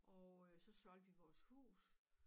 Og øh så solgte vi vores hus